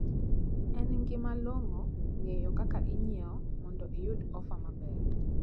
En gima long`o ng`eyo kaka inyiewo mondo iyud ofa maber.